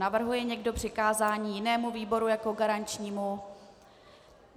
Navrhuje někdo přikázání jinému výboru jako garančnímu?